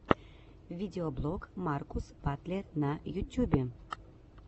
видеоблог маркус батлер на ютьюбе